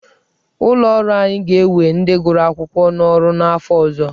Ụlọ ọrụ anyị ga-ewe ndị gụrụ akwụkwọ n'ọrụ n'afọ ọzọ.